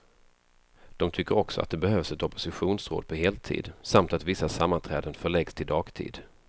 De tycker också att det behövs ett oppositionsråd på heltid, samt att vissa sammanträden förläggs till dagtid.